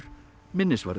minnisvarði